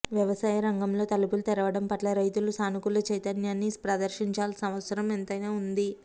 వ్యవసాయ రంగంలో తలుపులు తెరవడం పట్ల రైతులు సానుకూల చైతన్యాన్ని ప్రదర్శించాల్సిన అవసరం ఎంతైనా ఉంది